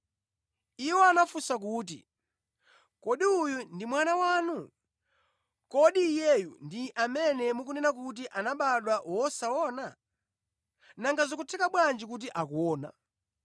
Iwo anafunsa kuti, “Kodi uyu ndi mwana wanu? Kodi iyeyu ndi amene mukunena kuti anabadwa wosaona? Nanga zikutheka bwanji kuti akuona?”